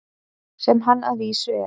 Sem hann að vísu er.